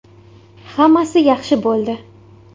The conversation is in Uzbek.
Hammasi yaxshi bo‘ldi.